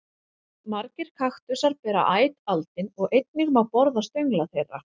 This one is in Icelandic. Margir kaktusar bera æt aldin og einnig má borða stöngla þeirra.